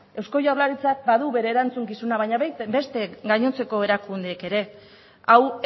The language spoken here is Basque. eusko jaurlaritzak badu bere erantzukizuna baina beste gainontzeko erakundeek ere hau